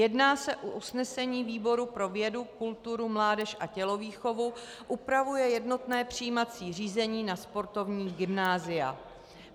Jedná se o usnesení výboru pro vědu, kulturu, mládež a tělovýchovu, upravuje jednotné přijímací řízení na sportovní gymnázia.